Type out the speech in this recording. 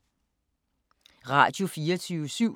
Radio24syv